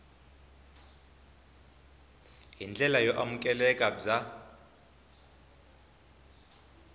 hi ndlela yo amukeleka bya